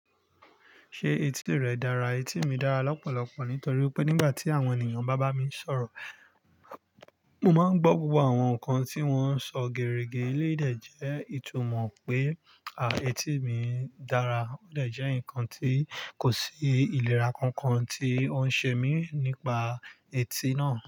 Ṣé etí rẹ dára? Etí mi dára lọ́pọ̀lọpọ̀ nítorí pé nígbà tí àwọn ènìyàn bá bá mi sọ̀rọ̀, mo máa ń gbọ́ gbogbo àwọn nǹkan tí wọ́n ń sọ gẹ̀rẹ̀gẹ̀. Eleyi dẹ̀ jẹ́ ìtumọ̀ pé, àá, etí mi dára. Ó de jẹ́ ǹkan tí kò sí ìlera kankan tí ó ń ṣe mí nípa etí náà.